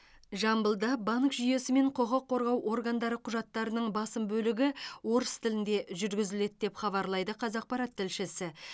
жамбылда банк жүйесі мен құқық қорғау органдары құжаттарының басым бөлігі орыс тілінде жүргізіледі деп хабарлайды қазақпарат тілшісі